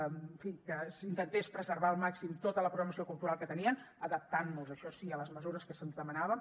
en fi que s’intentés preservar al màxim tota la programació cultural que tenien adaptant nos això sí a les mesures que se’ns demanaven